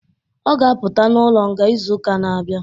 Ọ ga apụta n'ụlo nga izu ụka n'abia